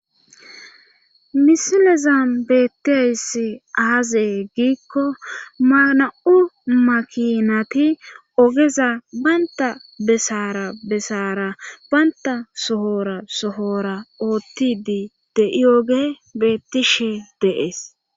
Misilezam beettiyssi aazee giikko mana7u makinati ogeza baynta besara besaara baynta sohora sohora oottidi de'i oge beettishe deees.